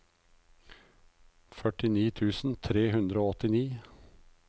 førtini tusen tre hundre og åttini